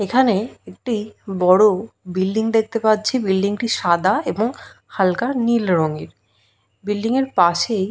এখানে একটি বড় বিল্ডিং দেখতে পাচ্ছি বিল্ডিং -টি সাদা এবং হালকা নীল রঙের বিল্ডিংয়ের পাশেই--